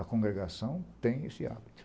A congregação tem esse hábito.